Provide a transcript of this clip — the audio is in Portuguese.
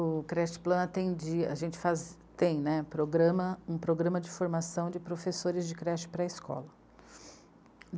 O creche plan atendia, a gente tem né, um programa de formação de professores de creche pré-escola.